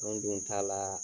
Anw dun ta la